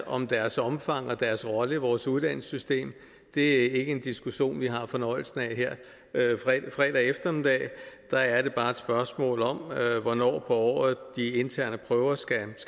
om deres omfang og deres rolle i vores uddannelsessystem det er ikke en diskussion vi har fornøjelsen af her fredag eftermiddag her er det bare et spørgsmål om hvornår på året de interne prøver skal